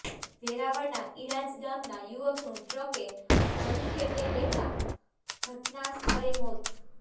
વેરાવળના ઇણાજ ગામના યુવકનું ટ્રકે હડફેટે લેતા ઘટના સ્થળે મોત